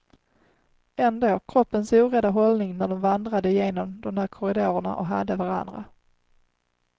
Ändå, kroppens orädda hållning när de vandrade genom de där korridorerna och hade varandra.